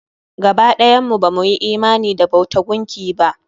Gaba ɗayan mu ba mu yi imani da bauta gunki ba.